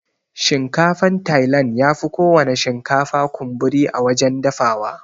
Shinkafan tailan yafi kowana shinkafa kunburi a wajan dafawa.